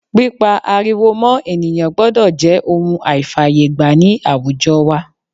Pípá ariwo mọ́ ènìyàn gbọ́dọ̀ jẹ́ ohun àìfàyè gbà ní àwùjo wa